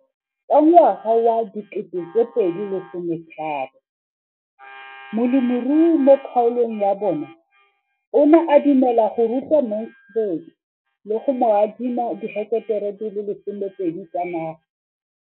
Ka ngwaga wa 2013, molemirui mo kgaolong ya bona o ne a dumela go ruta Mansfield le go mo adima di heketara di le 12 tsa naga.